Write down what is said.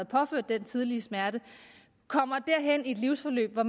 påført den tidlige smerte kommer i et livsforløb hvor